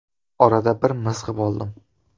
Orada bir mizg‘ib oldim.